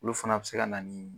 Olu fana bi se ka na ni